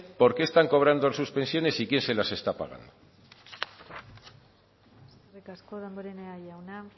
por qué están cobrando sus pensiones y quién se las está pagando eskerrik asko damborenea jauna